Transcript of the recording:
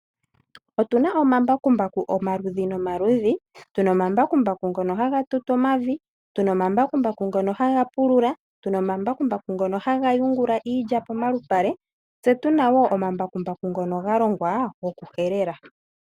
Otuna omambakumbaku omaludhi nomaludhi , otuna omambakumbaku ngono haga tutu omavi , ngono haga pulula , haga yungula iilya pomalupale noshowoo ngono galongwa haga helele.